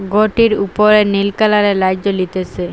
ঘরটির উপরে নীল কালারের লাইট জ্বলিতেসে।